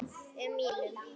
um mínum.